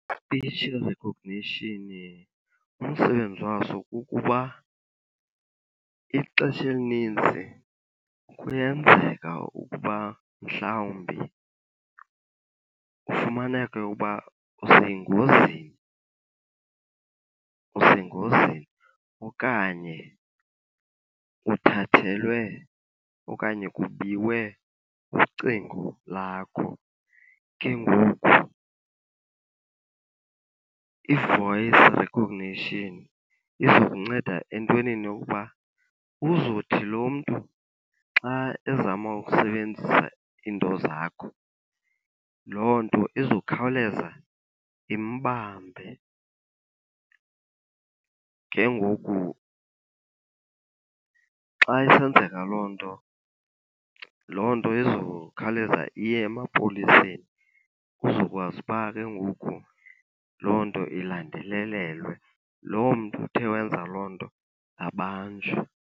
Ispitshi rekhognishini umsebenzi waso kukuba ixesha elininzi kuyenzeka ukuba mhlawumbi ufumaneke uba usengozini, usengozini okanye uthathelwe okanye kubiwe ucingo lakho. Ke ngoku i-voice recognition izokunceda entwenini yokuba uzothi lo mntu xa ezama ukusebenzisa iinto zakho, loo nto izokhawuleza imbambe. Ke ngoku xa isenzeka loo nto, loo nto izokhawuleza iye emapoliseni uzokwazi uba ke ngoku loo nto ilandelelelwe. Loo mntu uthe wenza loo nto abanjwe.